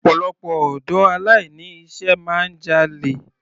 Ọ̀pọ̀lọpọ̀ ọ̀dọ́ aláìní iṣẹ́ máa ń jalè.